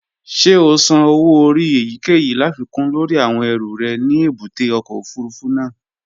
Ṣé o san owó orí èyíkèyìí láfikún lórí àwọn ẹrù rẹ ní èbúté ọkọ̀ òfurufú náà?